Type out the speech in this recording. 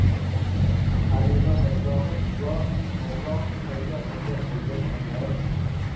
Halima, Mirzohid, yo, Olloh, Qayda birga bo‘lgan onlarim?